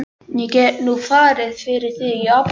Ég get nú farið fyrir þig í apótekið.